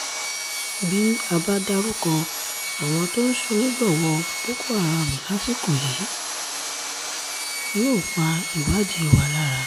bí a bá dárúkọ àwọn tó ń ṣonígbọ̀wọ́ boko haram lásìkò yìí yóò pa ìwádìí wa lára